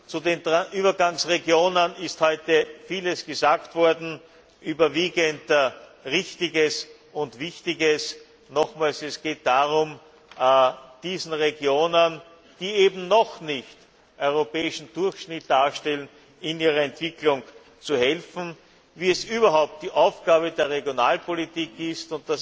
Zu den Übergangsregionen ist heute vieles gesagt worden, überwiegend Wichtiges und Richtiges. Es geht darum, diesen Regionen, die eben noch nicht europäischen Durchschnitt darstellen, in ihrer Entwicklung zu helfen, wie es überhaupt die Aufgabe der Regionalpolitik ist.